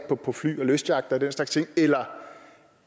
på fly og lystyachter og den slags ting eller